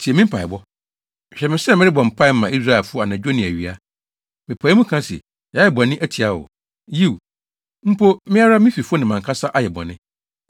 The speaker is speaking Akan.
tie me mpaebɔ. Hwɛ me sɛ merebɔ mpae ma Israelfo anadwo ne awia. Mepae mu ka se, yɛayɛ bɔne atia wo. Yiw, mpo, me ara me fifo ne mʼankasa ayɛ bɔne!